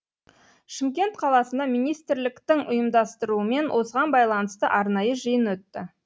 шымкент қаласында министрліктің ұйымдастыруымен осыған байланысты арнайы жиын өтті